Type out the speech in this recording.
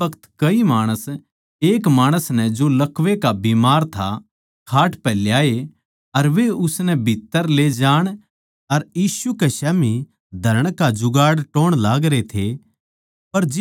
उस बखत कई माणस एक माणस नै जो लकवै का बीमार था खाट पै ल्याए अर वे उसनै भीत्त्तर ले जाण अर यीशु कै स्याम्ही धरण का जुगाड़ टोह्ण लागरे थे